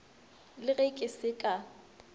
le ge ke se ka